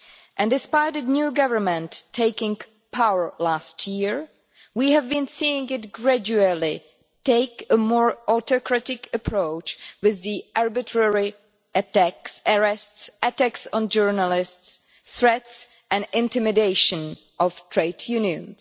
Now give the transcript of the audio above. And despite a new government taking power last year, we have been seeing it gradually take a more autocratic approach with the arbitrary arrests, attacks on journalists, threats and intimidation of trade unions.